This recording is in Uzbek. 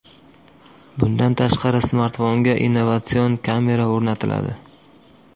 Bundan tashqari, smartfonga innovatsion kamera o‘rnatiladi.